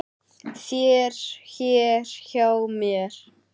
þér hér hjá mér